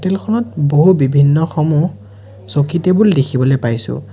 Hotel খনত বহু বিভিন্ন সমূহ চকী টেবুল দেখিবলৈ পাইছোঁ।